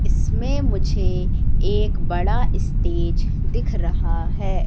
इसमें मुझे एक बड़ा स्टेज दिख रहा है।